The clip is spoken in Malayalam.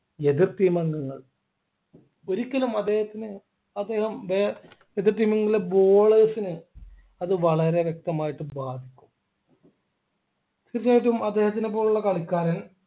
എതിർ team അംഗങ്ങൾ ഒരിക്കലും അദ്ദേഹത്തിന് അദ്ദേഹം വേ എതിർ team അംഗങ്ങളുടെ bowlers അത് വളരെ വ്യക്തമായിട്ട് ബാധിക്കും തീർച്ചയായിട്ടും അദ്ദേഹത്തിനെ പോലുള്ള കളിക്കാരൻ